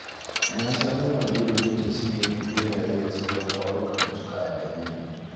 Na samo mage don ta cinye min ɓeraye da sauran ƙwarukan da suka addabe ni